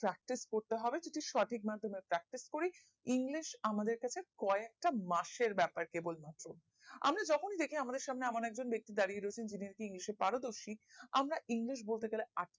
practice করতে হবে যে যদি সঠিক মার্ধমে practice করি english আমাদের কাছে ক এক টা মাসের ব্যাপার কেবল মাত্র আমরা যখনি দেখি আমাদের সামনে এমন একজন ব্যাক্তি দাঁড়িয়ে রোয়েছেন যিনি আর কি english এ পারদর্শিক আমরা english বলতে গেলে